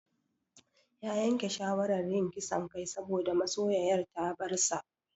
Ya yanke shawarar yin ƙisan kai saboda masoyoyar ta bar sa.